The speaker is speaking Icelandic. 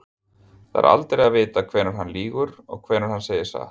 Það er aldrei að vita hvenær hann lýgur og hvenær hann segir satt.